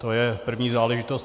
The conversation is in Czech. To je první záležitost.